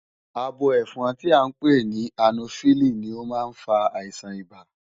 Abo ẹ́fọn tí à ń pè ní ànófílí ni ó má ń fa àìsàn ibà